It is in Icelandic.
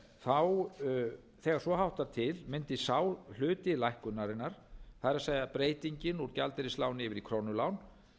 krónulán þegar svo háttar til mundi sá hluti lækkunarinnar það er breytingin úr gjaldeyrisláni yfir í krónulán